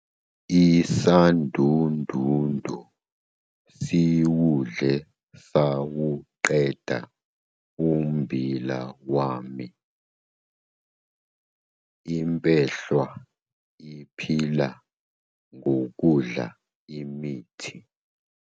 Isandundundu siwudle sawuqeda ummbila wami. Impehlwa iphila ngokudla imithi